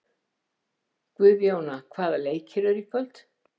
Guðjóna, hvaða leikir eru í kvöld?